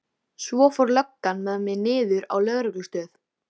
Svo fór löggan með mig niður á lögreglustöð.